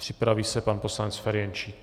Připraví se pan poslanec Ferjenčík.